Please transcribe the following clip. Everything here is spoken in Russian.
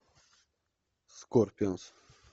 скорпионс